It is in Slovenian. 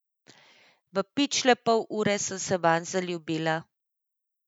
V pičle pol ure sem se vanj zaljubila.